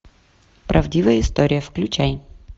правдивая история включай